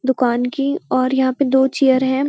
दूकान की और यहाँ पे दो चेयर है।